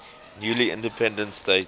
newly independent states